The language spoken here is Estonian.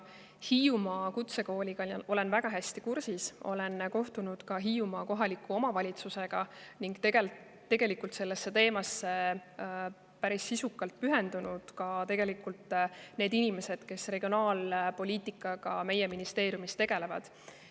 Hiiumaa kutsekooliga olen väga hästi kursis, olen kohtunud ka Hiiumaa kohaliku omavalitsusega ning tegelikult on sellesse teemasse päris need inimesed, kes regionaalpoliitikaga meie ministeeriumis tegelevad.